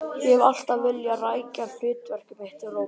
Ég hef alltaf vilja rækja hlutverk mitt, Róbert.